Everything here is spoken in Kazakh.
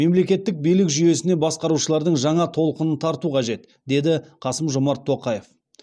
мемлекеттік билік жүйесіне басқарушылардың жаңа толқынын тарту қажет деді қасым жомарт тоқаев